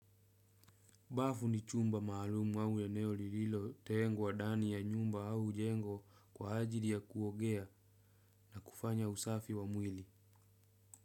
Bafu ni chumba maalumu au eneo lililotengwa ndani ya nyumba au jengo kwa ajili ya kuogea kufanya usafi wa mwili.